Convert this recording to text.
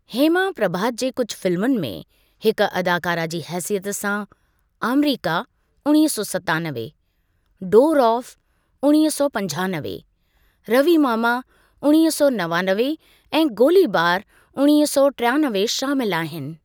हेमा प्रभात जे कुझु फिल्मुनि में हिक अदाकारा जी हैसियत सां "आमरीका" उणिवीह सौ सतानवे, "डोर ऑफ़" उणिवीह सौ पंजानवे, "रवीमामा" उणिवीह सौ नवानवे ऐं " गोलीबार" उणिवीह सौ टियानवे शामिलु आहिनि।